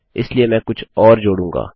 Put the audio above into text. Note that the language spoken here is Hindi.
इसलिए मैं कुछ और अधिक जोड़ूँगा